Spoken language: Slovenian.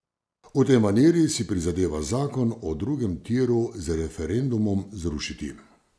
V tej maniri si prizadeva zakon o drugem tiru z referendumom zrušiti.